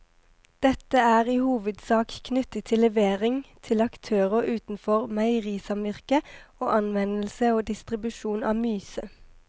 Dette er i hovedsak knyttet til levering til aktører utenfor meierisamvirket og anvendelse og distribusjon av myse.